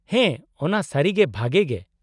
-ᱦᱮᱸ ᱚᱱᱟ ᱥᱟᱹᱨᱤᱜᱮ ᱵᱷᱟᱜᱮ ᱜᱮ ᱾